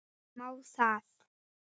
MÁ ÞAÐ????